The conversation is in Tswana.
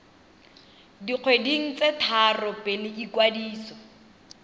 dikgweding tse tharo pele ikwadiso